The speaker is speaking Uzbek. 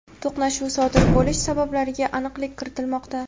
to‘qnashuv sodir bo‘lish sabablariga aniqlik kiritilmoqda.